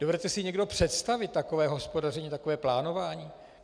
Dovedete si někdo představit takové hospodaření, takové plánování?